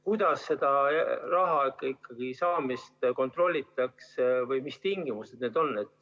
Kuidas seda raha saamist kontrollitakse või mis tingimused need on?